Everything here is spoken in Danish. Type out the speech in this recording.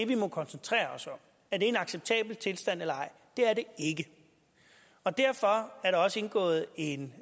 vi må koncentrere os om er det en acceptabel tilstand eller ej det er det ikke og derfor er der også indgået en